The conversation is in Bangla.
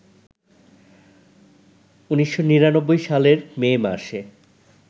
১৯৯৯ সালের মে মাসে